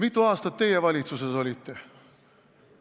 Mitu aastat teie valitsuses olite?